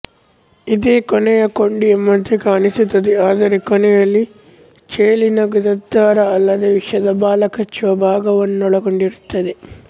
ಇದೇ ಕೊನೆಯ ಕೊಂಡಿ ಎಂಬಂತೆ ಕಾಣಿಸುತ್ತದೆ ಆದರೆ ಕೊನೆಯಲ್ಲಿ ಚೇಳಿನ ಗುದದ್ವಾರ ಅಲ್ಲದೇ ವಿಷದ ಬಾಲ ಕಚ್ಚುವ ಭಾಗ ವನ್ನೊಳಗೊಂಡಿರುತ್ತದೆ